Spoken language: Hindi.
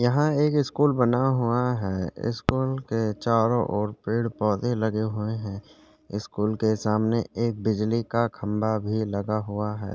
यहाँ एक स्कूल बना हुआ है स्कूल के चारो ओर पेड़ पौधे लगे हुए है स्कूल के सामने एक बिजली का खम्बा भी लगा हुआ है ।